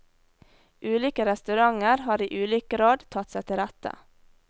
Ulike restauranter har i ulik grad tatt seg til rette.